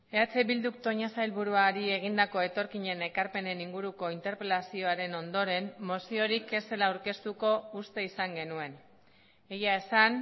eh bilduk toña sailburuari egindako etorkinen ekarpenen inguruko interpelazioaren ondoren moziorik ez zela aurkeztuko uste izan genuen egia esan